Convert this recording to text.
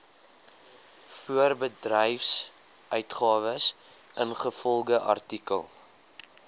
voorbedryfsuitgawes ingevolge artikel